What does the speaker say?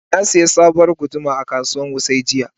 Na sayi sabuwar guduma a kasuwar Wuse jiya.